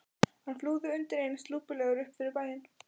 Hann flúði undir eins lúpulegur upp fyrir bæinn.